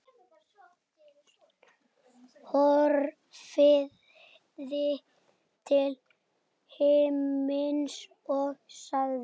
Horfði til himins og sagði: